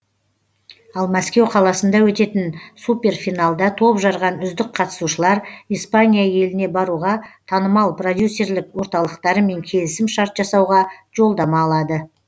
ал мәскеу қаласында өтетін супер финалда топ жарған үздік қатысушылар испания еліне баруға танымал продюсерлік орталықтарымен келісім шарт жасауға жолдама алады